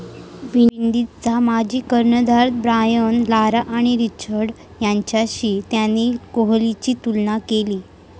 विंडीजचा माजी कर्णधार Brian Lara आणि रिचर्डस् यांच्याशी त्याने कोहलीची तुलना केली.